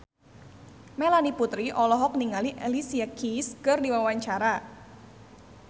Melanie Putri olohok ningali Alicia Keys keur diwawancara